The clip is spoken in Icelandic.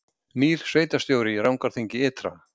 Nýr sveitarstjóri í Rangárþingi ytra